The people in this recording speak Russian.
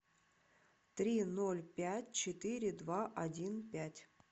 три ноль пять четыре два один пять